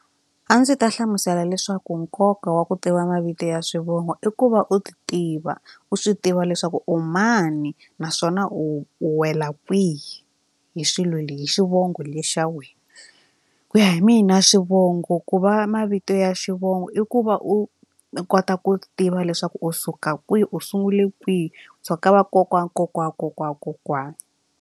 A ndzi ta hlamusela leswaku nkoka wa ku tiva mavito ya swivongo i ku va u ti tiva u swi tiva leswaku u mani naswona u wela kwihi hi swilo hi xivongo lexi ya wena ku ya hi mina xivongo ku va mavito ya xivongo i ku va u kota ku tiva leswaku u suka kwihi u sungule kwihi so ka vakokwana kokwani wa kokwana wa kokwana.